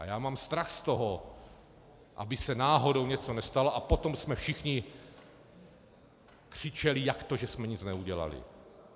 A já mám strach z toho, aby se náhodou něco nestalo, a potom jsme všichni křičeli, jak to, že jsme nic neudělali?